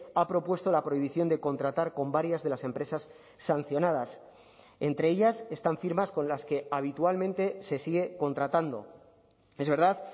ha propuesto la prohibición de contratar con varias de las empresas sancionadas entre ellas están firmas con las que habitualmente se sigue contratando es verdad